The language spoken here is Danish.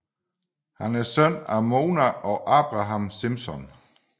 Han er søn af Mona og Abraham Simpson